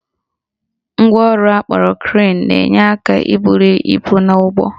Ngwaọrụ akpọrọ crane na-enye aka ibuli ibu n'ụgbọ